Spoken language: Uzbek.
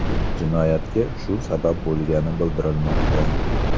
Jinoyatga shu sabab bo‘lgani bildirilmoqda.